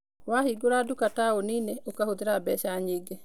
Wahingũra nduka taũni-inĩ, ũkũhũthĩra mbeca nyingĩ.